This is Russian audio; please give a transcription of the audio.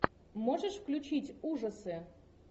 можешь включить ужасы